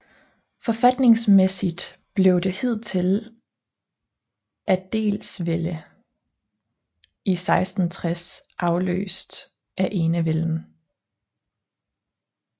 Forfatningsmæssigt blev det hidtidige adelsvælde i 1660 afløst af enevælden